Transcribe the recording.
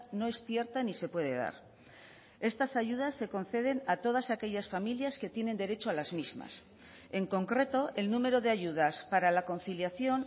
no es cierta ni se puede dar estas ayudas se conceden a todas aquellas familias que tienen derecho a las mismas en concreto el número de ayudas para la conciliación